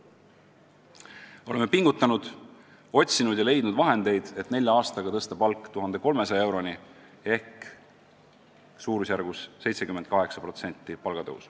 Oleme pingutanud, otsinud ja leidnud vahendeid, et nelja aastaga tõsta palk 1300 euroni, mis tähendab palgatõusu 78%.